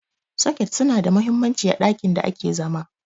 soket suna da mahimmanci a ɗakin da ake zama